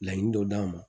Laɲini dɔ d'an ma